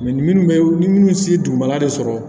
minnu bɛ ni minnu si dugumala de sɔrɔ